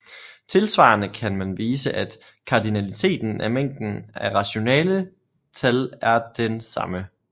Tilsvarende kan man vise at kardinaliteten af mængden af rationale tal er den samme